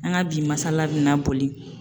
An ga bi masala bi na boli